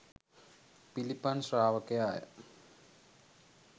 පිළිපන් ශ්‍රාවකයා ය.